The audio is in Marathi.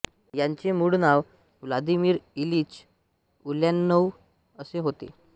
यांचे मूळ नाव व्लादिमिर इलिच उल्यानोव्ह असे होते